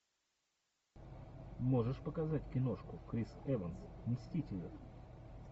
можешь показать киношку крис эванс мстители